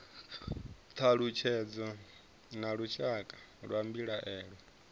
thalutshedzo na lushaka lwa mbilaelo